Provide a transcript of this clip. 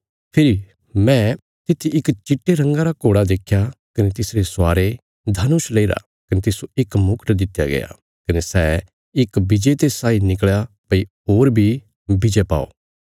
फेरी मैं तित्थी इक चिट्टे रंगा रा घोड़ा देख्या कने तिसरे स्वारे धनुष लेईरा कने तिस्सो इक मुकुट दित्या गया कने सै इक विजेते साई निकल़या भई होर बी विजय पाओ